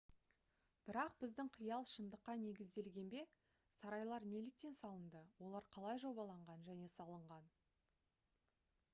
бірақ біздің қиял шындыққа негізделген бе сарайлар неліктен салынды олар қалай жобаланған және салынған